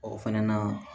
O fɛnɛ na